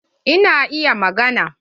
Eh na iya maganar.